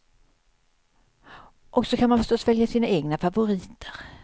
Och så kan man förstås välja sina egna favoriter.